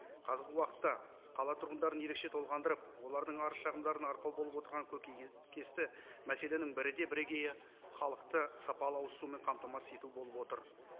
қазіргі уақытта қала тұрғындарын ерекше толғандырып олардың арыз шағымдарына арқау болып отырған көкейкесті мәселенің бірі де бірегейі халықты сапалы ауызсумен қамтамасыз ету болып отыр